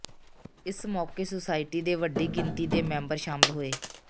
ਇਸ ਮੌਕੇ ਸੁਸਾਇਟੀ ਦੇ ਵੱਡੀ ਗਿਣਤੀ ਦੇ ਮੈਂਬਰ ਸ਼ਾਮਲ ਹੋਏ